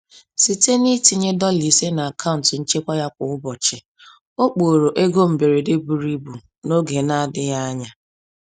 Site n’itinye dola ise n’akaụntụ nchekwa ya kwa ụbọchị, ọ kpọrọ ego mberede buru ibu n’oge na-adịghị anya.